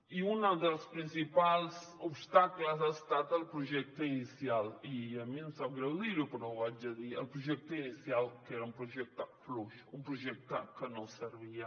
i un dels principals obstacles ha estat el projecte inicial i a mi em sap greu dirho però ho haig de dir que era un projecte fluix un projecte que no servia